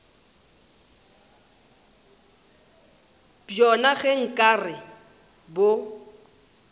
bjona ge nka re bo